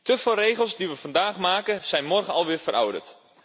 Te veel regels die we vandaag maken zijn morgen al weer verouderd.